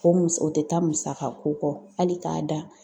O musɔ o te taa musaka ko kɔ hali k'a da